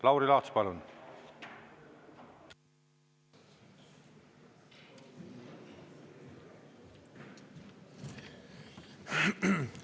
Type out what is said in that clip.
Lauri Laats, palun!